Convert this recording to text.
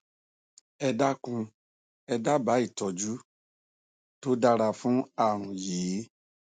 ẹ dákun ẹ dábàá ìtọjú tó dára fún ààrùn yìí